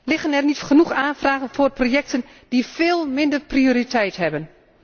Liggen er niet genoeg aanvragen voor projecten die veel minder prioriteit hebben?